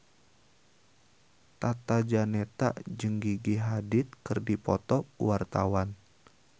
Tata Janeta jeung Gigi Hadid keur dipoto ku wartawan